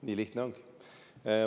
Nii lihtne ongi.